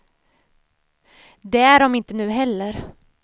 Det är de inte nu heller.